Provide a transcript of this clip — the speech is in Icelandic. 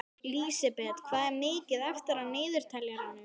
Lísebet, hvað er mikið eftir af niðurteljaranum?